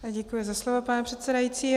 Děkuji za slovo, pane předsedající.